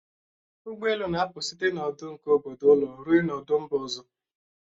Ụgbọelu na-apụ site n'ọdụ nke obodo ụlọ ruo n'ọdụ mba ọzọ